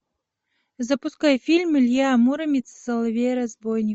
запускай фильм илья муромец и соловей разбойник